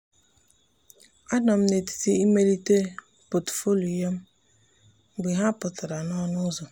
a nọ m n'etiti imelite pọtụfoliyo m mgbe ha pụtara n'ọnụ ụzọ.